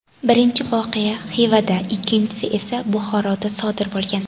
Birinchi voqea Xivada, ikkinchisi esa Buxoroda sodir bo‘lgan.